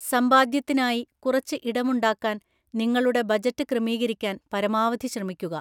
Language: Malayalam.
സമ്പാദ്യത്തിനായി കുറച്ച് ഇടമുണ്ടാക്കാൻ നിങ്ങളുടെ ബജറ്റ് ക്രമീകരിക്കാൻ പരമാവധി ശ്രമിക്കുക.